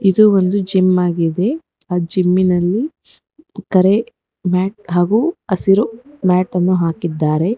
ಇದು ಒಂದು ಜಿಮ್ ಆಗಿದೆ ಆ ಜಮ್ಮಿಲ್ಲಿ ಕರೆ ಮ್ಯಾಟನ್ನು ಹಾಗು ಹಸಿರು ಮ್ಯಾಟ್ ಅನ್ನು ಹಾಕಿದ್ದಾರೆ.